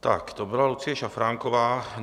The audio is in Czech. Tak to byla Lucie Šafránková.